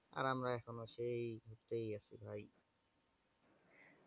আমরা এখনো সেই ঘুরতেই আছি ভাই।